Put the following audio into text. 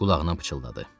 Qulağına pıçıldadı.